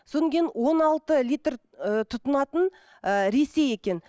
содан кейін он алты литр ы тұтынатын ыыы ресей екен